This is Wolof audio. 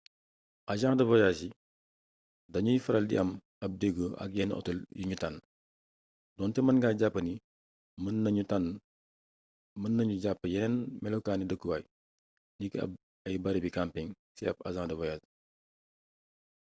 agent de voyage yi dañooy faral di am ab déggoo ak yenn otel yuñu tànn donte mën nga jàpp ni mën nañu jàpp yeneen melokaani dëkkuwaay niki ay barabi camping ci ab agent de voyage